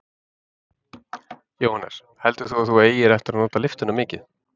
Jóhannes: Heldurðu að þú eigir eftir að nota lyftuna mikið?